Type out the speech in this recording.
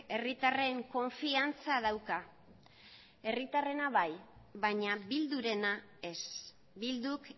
herritarren konfiantza dauka herritarrena bai baina bildurena ez bilduk